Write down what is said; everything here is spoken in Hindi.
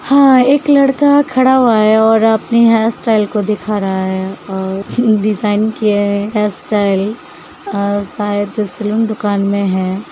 हाँ एक लड़का खड़ा हुआ है और अपनी हेयर स्टाइल को दिखा रहा है और डिज़ाइन किया है हेयर स्टाइल अं शायद सैलून दुकान में है।